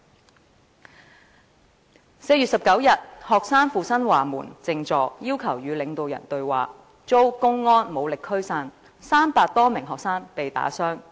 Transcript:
在4月19日，學生赴新華門靜坐，要求與領導人對話，遭公安武力驅散 ，300 多名學生被打傷。